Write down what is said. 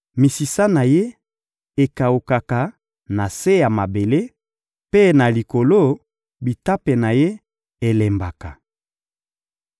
Misisa na ye ekawukaka na se ya mabele, mpe, na likolo, bitape na ye elembaka.